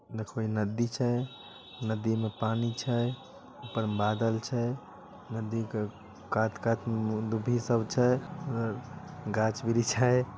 देखो इ नदी छै। नदी में पानी छै ऊपर में बादल छै। नदी के कात-कात में दुभी सब छै गाछ वृक्ष--